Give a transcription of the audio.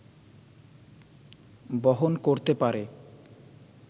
বহন করতে পারে